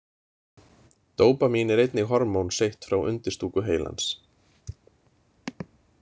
Dópamín er einnig hormón seytt frá undirstúku heilans.